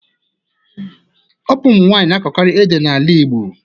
Ọ bụ ụmụ nwanyị na akọkarị ede n'ala Igbo